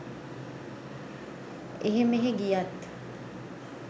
එහෙ මෙහෙ ගියත්